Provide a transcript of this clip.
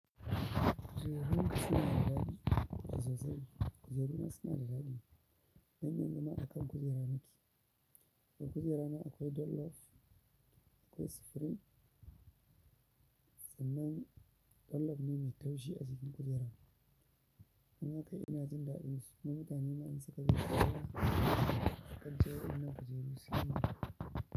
Kujerun suna da daɗi sosai. Kujerun suna da daɗi. Dan yanzun ma akan kujera na ke. A kujera na akwai dollop, akwai supreme sannan dollop ne mai taushi a jikin kujera. Dan haka ina jin daɗin su. Dan mutane ma in suka zauna a kan ta a kan ce wa'innan kujeru sun yii min.